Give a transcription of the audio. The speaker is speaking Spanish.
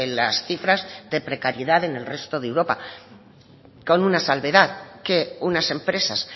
las cifras de precariedad en el resto de europa con una salvedad que unas empresas